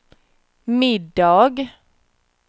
middag